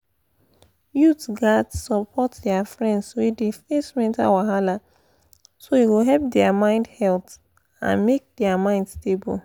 youth gats support their friends wey dey face mental wahala so e go help their mental health and make their mind stable.